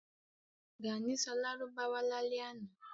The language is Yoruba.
Gàní sọ Lárúbáwá lálẹ́ ànọ́